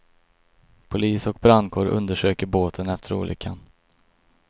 Polis och brandkår undersöker båten efter olyckan.